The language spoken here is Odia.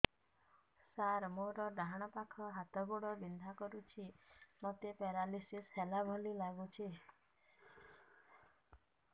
ସାର ମୋର ଡାହାଣ ପାଖ ହାତ ଗୋଡ଼ ବିନ୍ଧା କରୁଛି ମୋତେ ପେରାଲିଶିଶ ହେଲା ଭଳି ଲାଗୁଛି